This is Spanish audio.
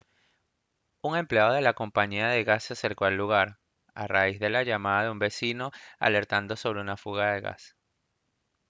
un empleado de la compañía de gas se acercó al lugar a raíz de la llamada de un vecino alertando sobre una fuga de gas